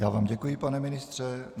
Já vám děkuji, pane ministře.